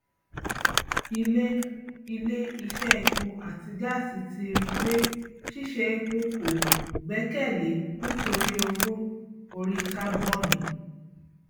ilé ilé iṣẹ epo àti gáàsì ti ri pé ṣíṣe epo kò gbẹkèlé nítorí owó orí kábònì